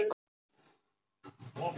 Ég á bágt með að sætta mig við það.